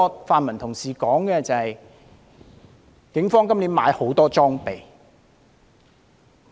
泛民同事提出的另一點，是警方今年購買很多裝備。